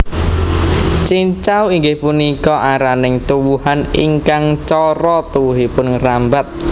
Cincau inggih punika araning tuwuhan ingkang cara tuwuhipun ngrambat